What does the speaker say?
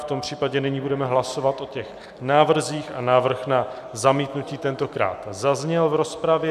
V tom případě nyní budeme hlasovat o těch návrzích a návrh na zamítnutí tentokrát zazněl v rozpravě.